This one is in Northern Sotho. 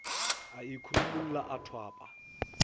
a e khurumolla a thwapa